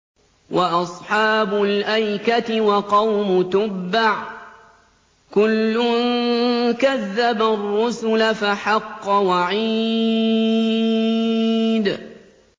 وَأَصْحَابُ الْأَيْكَةِ وَقَوْمُ تُبَّعٍ ۚ كُلٌّ كَذَّبَ الرُّسُلَ فَحَقَّ وَعِيدِ